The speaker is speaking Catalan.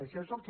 això és el que